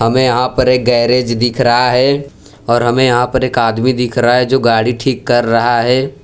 हमे यहां पर एक गैरेज दिख रहा है और हमे यहां पर एक आदमी दिख रहा है जो गाड़ी ठीक कर रहा है।